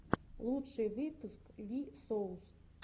лучший выпуск ви соус